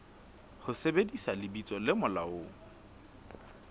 ho sebedisa lebitso le molaong